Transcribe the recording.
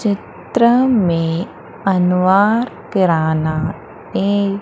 चित्र मे अनुवर किराना ए--